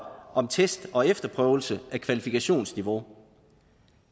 om test og efterprøvelse af kvalifikationsniveau